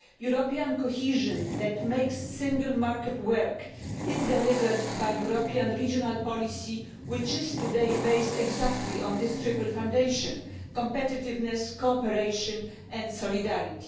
European cohesion that makes the single market work is delivered by the European regional policy, which is today based exactly on this triple foundation competitiveness, cooperation and solidarity.